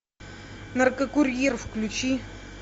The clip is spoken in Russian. наркокурьер включи